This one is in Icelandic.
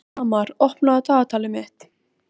Valdimar andvarpaði þungt og virti Bóas fyrir sér.